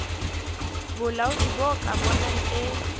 bolaodi bo ka bonang e